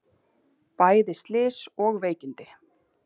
Bæði slys og veikindi